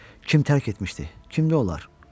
Kim tərk etmişdi, kimdi onlar?